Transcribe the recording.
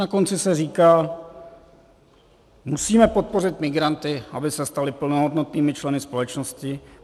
Na konci se říká, musíme podpořit migranty, aby se stali plnohodnotnými členy společnosti.